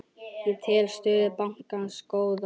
Ég tel stöðu bankans góða.